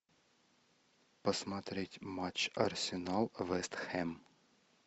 посмотреть матч арсенал вест хэм